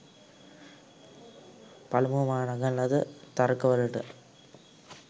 පළමුව මා නගන ලද තර්ක වලට